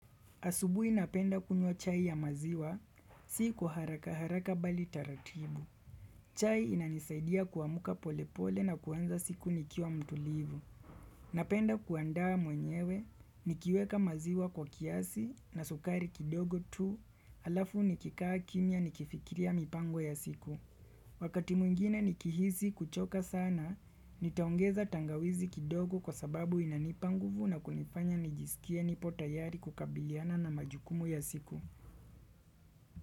Asubui napenda kunywa chai ya maziwa, si kwa haraka haraka bali taratibu. Chai inanisaidia kuamka pole pole na kuanza siku nikiwa mtulivu. Napenda kuandaa mwenyewe, nikiweka maziwa kwa kiasi, na sukari kidogo tu, halafu nikikaa kimia nikifikiria mipango ya siku. Wakati mwingine nikihizi kuchoka sana, nitaongeza tangawizi kidogo kwa sababu inanipa nguvu na kunifanya nijisikie nipo tayari kukabiliana na majukumu ya siku.